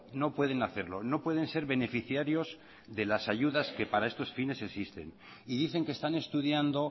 no pueden hacerlo no pueden ser beneficiarios de las ayudas que para estos fines existen y dicen que están estudiando